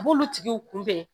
b'olu tigiw kunbɛn